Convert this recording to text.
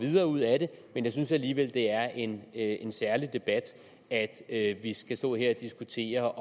mere ud af det men jeg synes alligevel at det er en en særlig debat at at vi skal stå her og diskutere